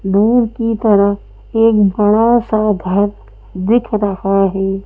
दूर की तरफ एक बड़ा सा घर दिख रहा है।